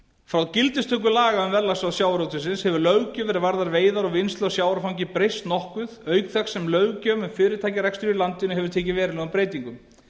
frá gildistöku laga um verðlagsráð sjávarútvegsins hefur löggjöf er varðar veiðar og vinnslu á sjávarfangi breyst nokkuð auk þess sem löggjöf um fyrirtækjarekstur í landinu hefur tekið verulegum breytingum